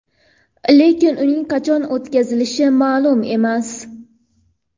Lekin uning qachon o‘tkazilishi ma’lum emas.